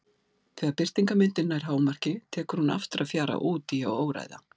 Þegar birtingarmyndin nær hámarki tekur hún aftur að fjara út í hið óræða.